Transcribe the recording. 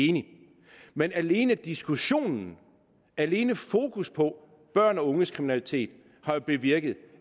enig men alene diskussionen og alene fokuset på børn og unges kriminalitet har jo bevirket